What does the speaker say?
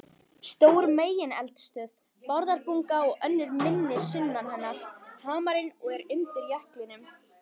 Stór megineldstöð, Bárðarbunga, og önnur minni sunnan hennar, Hamarinn, eru undir jöklinum.